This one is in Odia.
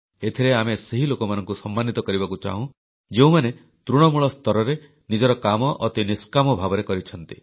ଏଥିରେ ଆମେ ସେଇ ଲୋକମାନଙ୍କୁ ସମ୍ମାନିତ କରିବାକୁ ଚାହୁଁ ଯେଉଁମାନେ ତୃଣମୂଳ ସ୍ତରରେ ନିଜର କାମ ଅତି ନିଷ୍କାମ ଭାବରେ କରିଛନ୍ତି